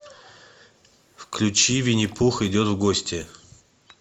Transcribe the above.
включи винни пух идет в гости